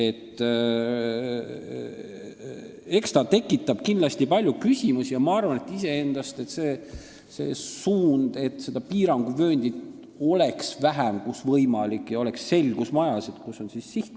Eks see tekitab kindlasti palju küsimusi, aga ma arvan, et iseenesest on õige see suund, et piiranguvööndit oleks vähem, kus see on võimalik, ja oleks selgus majas, kus on sihtkaitsevöönd.